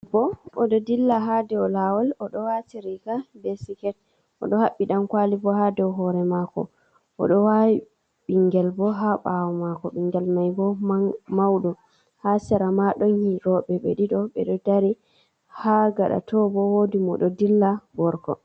Bo oɗo dilla ha dow lawol o ɗo wati rika be siket o ɗo habbi ɗan kwali bo ha dow hore mako, oɗo wawi ɓingel bo ha bawo mako, bingel mai bo mauɗo, ha sera ma ɗon robe ɓe ɗiɗo, ɓeɗo dari, ha gaɗa to bo wodi mo ɗo dilla gorko.